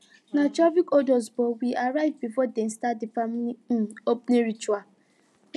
na traffic hold us but we arrive before them start the family um opening ritual